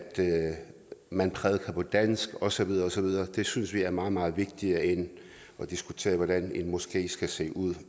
man prædikede på dansk og så videre og så videre det synes vi er meget meget vigtigere end at diskutere hvordan en moské skal se ud